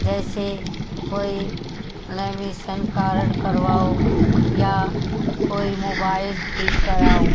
जैसे कोई lamination card करवाओ या कोई मोबाईल ठीक कराओ--